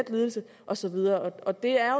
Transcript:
lidelse og så videre det er